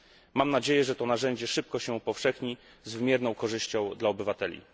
Mam nadzieję, że to narzędzie szybko się upowszechni z wymierną korzyścią dla obywateli.